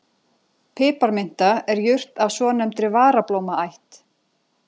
Piparminta er jurt af svonefndri varablómaætt.